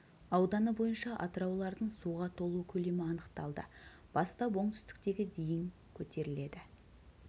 ауданы бойынша атыраулардың суға толу көлемі анықталды бастап оңтүстіктегі дейін көтеріледі